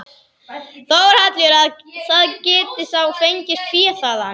Þórhallur: Að það geti þá fengist fé þaðan?